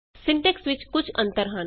syntax ਵਿਚ ਕੁਝ ਅੰਤਰ ਹਨ